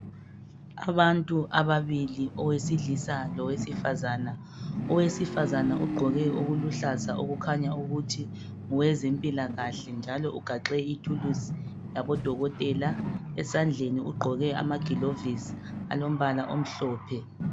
Abantu ababili, owesilisa lowesifazana. Owesifazana ogqoke okuluhlaza, okukhanya ukuthi ngowezempilakahle, njalo ugaxe ithuluzi yabodokotela. Esandleni ugqoke amagilovisi alombala omhlophe.